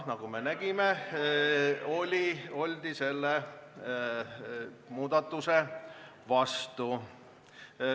" Nagu me nägime, oldi selle muudatuse vastu.